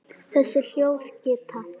Þessi hljóð geta